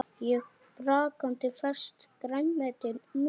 Og brakandi ferskt grænmeti núna?